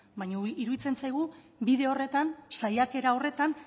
baina iruditzen zaigu bide horretan saiakera horretan